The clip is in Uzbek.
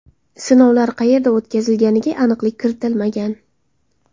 Sinovlar qayerda o‘tkazilganiga aniqlik kiritilmagan.